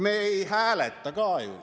Me ei hääleta ka ju.